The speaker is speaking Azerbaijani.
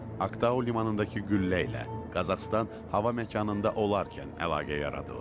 Bir də Aktao limanındakı güllə ilə Qazaxıstan hava məkanında olarkən əlaqə yaradılıb.